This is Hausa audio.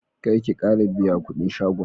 Karki Kara biya kudin shagon